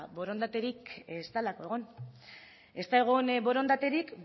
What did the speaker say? borondaterik ez delako egon ez da egon borondaterik